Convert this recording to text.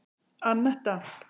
Anetta